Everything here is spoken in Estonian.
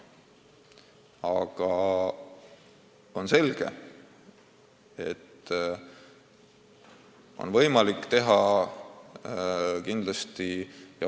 Aga on selge, et kõike on võimalik teha veel paremini.